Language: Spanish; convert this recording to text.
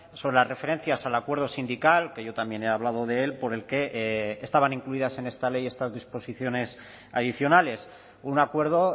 sobre las referencias al acuerdo sindical que yo también he hablado de él por el que estaban incluidas en esta ley estas disposiciones adicionales un acuerdo